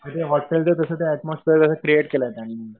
म्हणजे हॉटेलचं तसं ऐटमोस्फियर क्रिएट केलं त्यांनी.